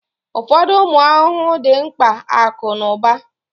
Ụfọdụ ụmụ ahụhụ dị mkpa akụ na ụba